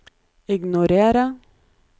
ignorer